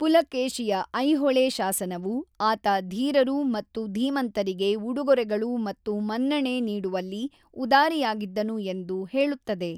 ಪುಲಕೇಶಿಯ ಐಹೊಳೆ ಶಾಸನವು ಆತ ಧೀರರು ಮತ್ತು ಧೀಮಂತರಿಗೆ ಉಡುಗೊರೆಗಳು ಮತ್ತು ಮನ್ನಣೆ ನೀಡುವಲ್ಲಿ ಉದಾರಿಯಾಗಿದ್ದನು ಎಂದು ಹೇಳುತ್ತದೆ.